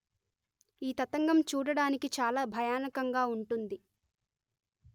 ఈ తతంగం చూడడానికి చాల భయానకంగా వుంటుంది